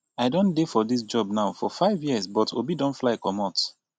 i don dey for dis job now for 5 years but obi don fly comot